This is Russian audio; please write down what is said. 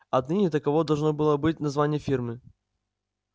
отныне таково должно было быть название фирмы